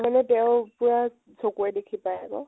মানে তেওঁ পুৰা চকুৰে দেখি পায় আকৌ।